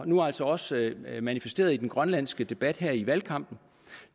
nu altså også manifesteret i den grønlandske debat her i valgkampen